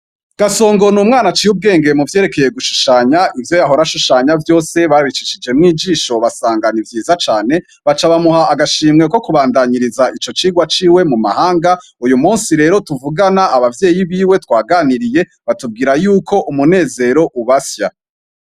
Gasongo n'umwana aciye ubwenge mu vyerekeye gushushanya, ivyo yahora ashushanya vyose babicishijemwo ijisho basanga nivyiza cane, baca bamuha agashimwe ko kubandaniriza ico cigwa ciwe mu mahanga, uyu musi rero tuvugana, abavyeyi biwe twaganiriye batubwira yuko Umunezero ubasya.